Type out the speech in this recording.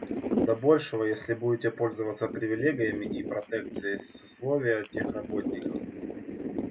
до большего если будете пользоваться привилегиями и протекцией сословия техработников